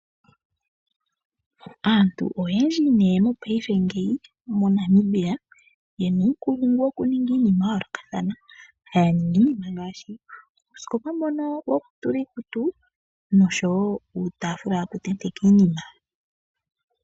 Aantu oyendji nee mopaife ngeyi moNamibia ye na uukulungu wokuninga iinima ya yoolokathana, haya ningi iinima ngaashi uusikopa mbono wokutulwa iikutu nosho woo uutaafula wokutenteka iinima.